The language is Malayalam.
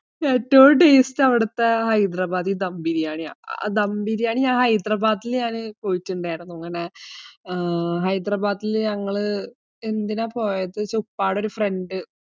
ഏറ്റവും taste അവിടുത്തെ ഹൈദരാബാദി ദം ബിരിയാണി ആണ്. ആ ദം ബിരിയാണി, ഞാന് ഹൈദരാബാദിൽ ഞാന് പോയിട്ടുണ്ടയിരുന്നു. ഇങ്ങനെ, ആഹ് ഹൈദരാബാദിൽ ഞങ്ങൾ എന്തിനാ പോയതെന്ന് വെച്ച ഉപ്പയുടെ ഒരു friend